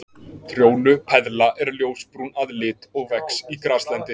Trjónupeðla er ljósbrún að lit og vex í graslendi.